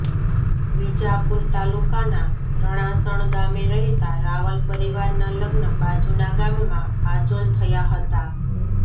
વિજાપુર તાલુકાના રણાસણ ગામે રહેતાં રાવલ પરિવારનાં લગ્ન બાજુનાં ગામમાં આજોલ થયા હતા